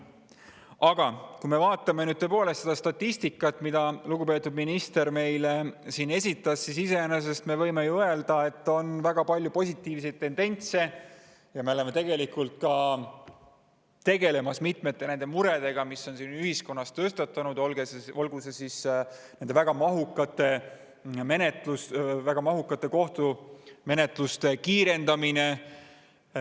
Aga kui me vaatame nüüd seda statistikat, mille lugupeetud minister meile siin esitas, siis iseenesest me võime ju öelda, et on väga palju positiivseid tendentse ja me oleme tegelikult tegelemas mitme murega, mis on ühiskonnas tõstatunud, näiteks väga mahukate kohtumenetluste kiirendamine.